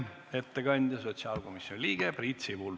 Ettekandja on sotsiaalkomisjoni liige Priit Sibul.